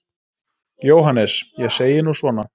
JÓHANNES: Ég segi nú svona.